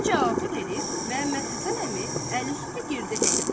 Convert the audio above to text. Bu cavabı verib Məmmədhəsən əmi əl üstü girdi həyətə.